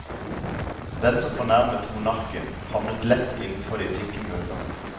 Den som fornærmet monarken, havnet lett innenfor de tykke murene.